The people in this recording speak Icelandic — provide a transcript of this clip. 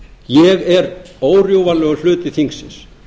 ég er órjúfanlegur hluti þingsins